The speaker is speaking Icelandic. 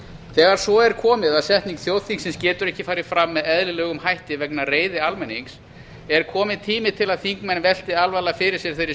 þegar svo er komið að setning þjóðþingsins getur ekki farið fram með eðlilegum hætti vegna reiði almennings er kominn tími til að þingmenn velti alvarlega fyrir sér þeirri